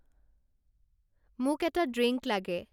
মোক এটা ড্ৰিংক লাগে